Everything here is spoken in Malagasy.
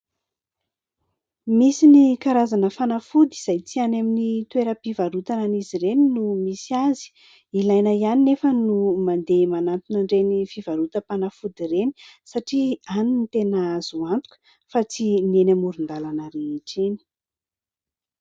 Misy ny karazana fanafody izay tsy any amin'ny toeram-pivarotana an'izy ireny no misy azy. Ilaina ihany anefa no mandeha manantona ireny fivarotam-panafody ireny satria any no tena azo antoka fa tsy ny eny amoron-dalana rehetra eny.